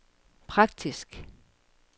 praktisk